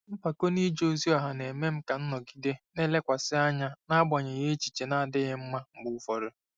Mpako n'ije ozi ọha na-eme ka m nọgide na-elekwasị anya n'agbanyeghị echiche na-adịghị mma mgbe ụfọdụ.